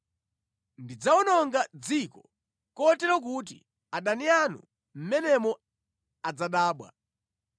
Ndidzawononga dziko kotero kuti adani anu mʼmenemo adzadabwa.